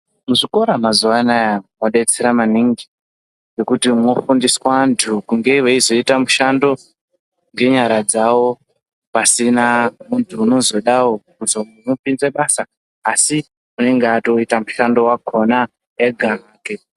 Muzvikora mazuwa anaya modetsera maningi ngekuti mofundiswa vantu kunge veizoita mishando ngenyara dzavo pasina muntu unozodawo kuzomupinze basa asi unenge atoita mushando wakhona ega hake.